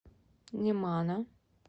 немана